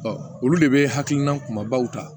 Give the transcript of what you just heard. olu de bɛ hakilina kumabaw ta